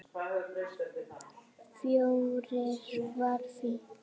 Fjórir var fínt.